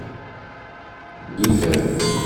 дитя